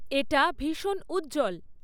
এটা ভীষণ উজ্জ্বল